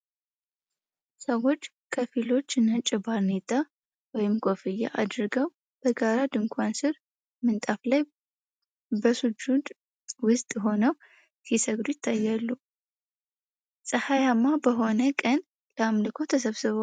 ሰዎች ከፊሎቹ ነጭ ባርኔጣ (ኩፍያ) አድርገው በጋራ ድንኳን ስር ምንጣፍ ላይ በሱጁድ ውስጥ ሆነው ሲሰግዱ ይታያሉ። ፀሐያማ በሆነ ቀን ለአምልኮ ተሰብስበዋል።